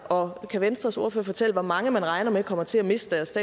og kan venstres ordfører fortælle hvor mange man regner med kommer til at miste deres